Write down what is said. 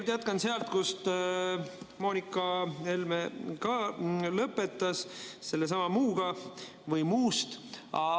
Ma jätkan sealt, kus Helle-Moonika Helme lõpetas, sellesama "muule" juurest.